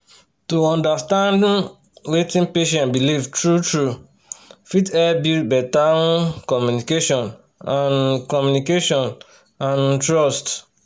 to understand um wetin patient believe true-true fit help build better um communication and um communication and um trust